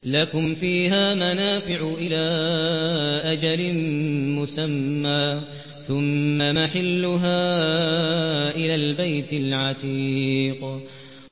لَكُمْ فِيهَا مَنَافِعُ إِلَىٰ أَجَلٍ مُّسَمًّى ثُمَّ مَحِلُّهَا إِلَى الْبَيْتِ الْعَتِيقِ